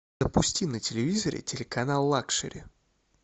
запусти на телевизоре телеканал лакшери